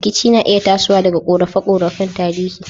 Rikici na iya tasowa daga korafe-korafen tarihi.